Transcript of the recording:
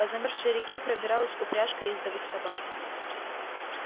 по замёрзшей реке пробиралась упряжка ездовых собак